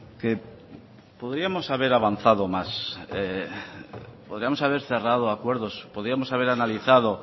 que podríamos haber avanzado más podríamos haber cerrado acuerdos podíamos haber analizado